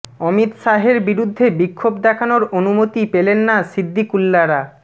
অমিত শাহের বিরুদ্ধে বিক্ষোভ দেখানোর অনুমতি পেলেন না সিদ্দিকুল্লারা